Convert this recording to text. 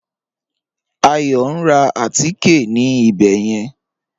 Ayọ̀ n rá àtíkẹ̀ ní ìbẹ̀ yẹn